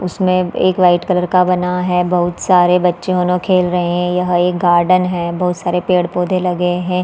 उसमे एक white colour का बना है बहुत सारे बच्चे मोनो खेल रहे है यह एक गार्डन है बहुत सारे पेड़-पौधे लगे है।